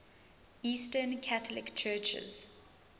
eastern catholic churches